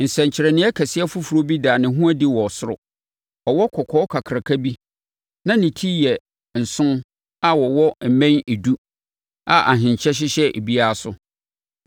Nsɛnkyerɛnneɛ kɛseɛ foforɔ bi daa ne ho adi wɔ ɔsoro. Ɔwɔ kɔkɔɔ kakraka bi, na ne ti yɛ nson na ɔwɔ mmɛn edu a ahenkyɛ hyehyɛ ebiara so.